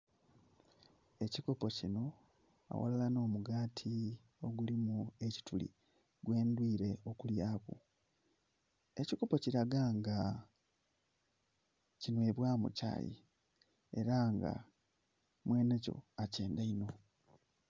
Ekikopo kinho aghalala nho mugati ogulimu ekituli gwe ndwire okulyaku, ekikopo kilaga nga kinhwebwamu kyayii era nga mwenhe kyo akyendha inho.